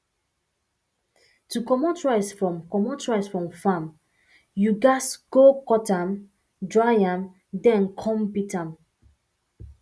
to comot rice from comot rice from farm you um go cut um am dry am then come um beat am